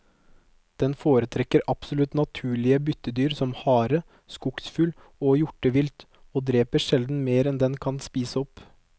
Den foretrekker absolutt naturlige byttedyr som hare, skogsfugl og hjortevilt, og dreper sjelden mer enn den kan spise opp.